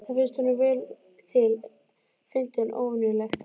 Það finnst honum vel til fundið en óvenjulegt.